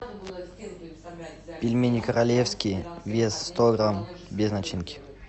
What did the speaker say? пельмени королевские вес сто грамм без начинки